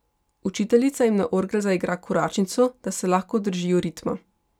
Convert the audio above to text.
Učiteljica jim na orgle zaigra koračnico, da se lahko držijo ritma.